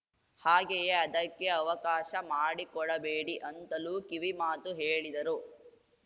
ಹಾಗೆಯೇ ಅದಕ್ಕೆ ಅವಕಾಶ ಮಾಡಿಕೊಡಬೇಡಿ ಅಂತಲೂ ಕಿವಿ ಮಾತು ಹೇಳಿದರು